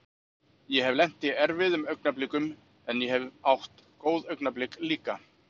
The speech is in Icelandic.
Ég hef lent í erfiðum augnablikum en ég hef átt góð augnablik líka.